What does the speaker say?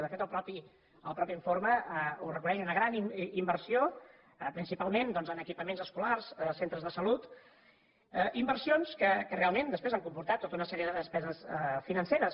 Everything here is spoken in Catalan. de fet el mateix informe ho reconeix una gran inversió principalment doncs en equipaments escolars centres de salut inversions que realment després han comportat tota una sèrie de despeses financeres